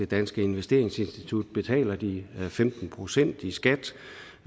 danske investeringsinstitutter betaler de femten procent i skat